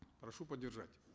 прошу поддержать